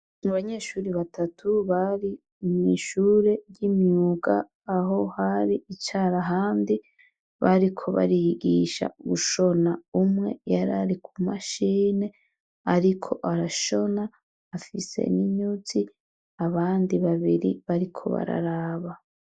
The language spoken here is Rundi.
Abanyeshure batatu bari mwishure ry'imyuga aho hari hicara ahandi, bariko bariyigisha gushona. Umwe yarari ku mashini ariko arashona afise n'inyuzi, abandi babiri bariko bararaba.